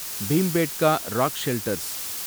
Bhimbetka rock shelters